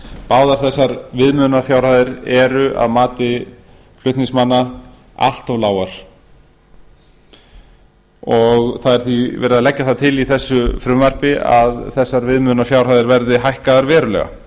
báðar þessar viðmiðunarfjárhæðir eru að mati flutningsmanna allt of lágar það er því verið að leggja til í þessu frumvarpi að þessar viðmiðunarfjárhæðir verði hækkaðar verulega